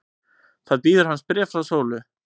Þá bíður hans bréf frá Sólu.